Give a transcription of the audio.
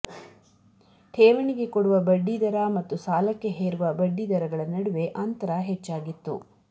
ಠೇವಣಿಗೆ ಕೊಡುವ ಬಡ್ಡಿದರ ಮತ್ತು ಸಾಲಕ್ಕೆ ಹೇರುವ ಬಡ್ಡಿದರಗಳ ನಡುವೆ ಅಂತರ ಹೆಚ್ಚಾಗಿತ್ತು